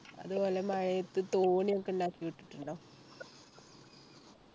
അതുപോലെ മഴയത്ത് തോണിയൊക്കെ ഉണ്ടാക്കി വിട്ടിട്ടുണ്ടോ